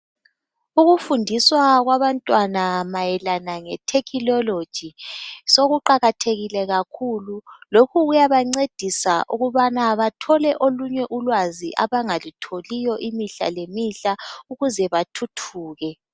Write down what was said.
Ukufundiswa kwabantwana mayelana ngeTecnology sokuqakathekile kakhulu lokhu kuyabancedisa ukubana bathole olunye ulwazi abangalutholiyo imihla lemihla ukuze bathuthuke